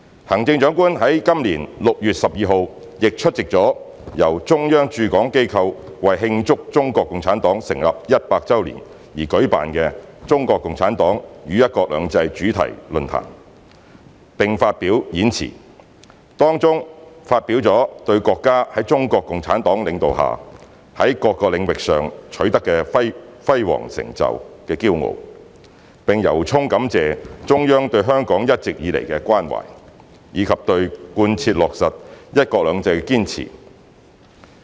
行政長官在本年6月12日亦出席了由中央駐港機構為慶祝中國共產黨成立一百周年而舉辦的"中國共產黨與'一國兩制'主題論壇"，並發表演辭，當中表達了對國家在中國共產黨領導下，在各個領域上取得的輝煌成就的驕傲，並由衷感謝中央對香港一直以來的關懷，以及對貫徹落實"一國兩制"的堅持。